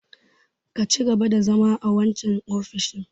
Ka cigaba da zama a wancan ofishin!